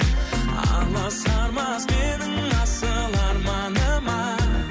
аласармас менің асыл арманыма